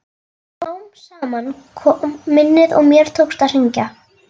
Smám saman kom minnið og mér tókst að hringja.